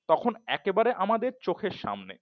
তখন একেবারে আমাদের চোখের সামনে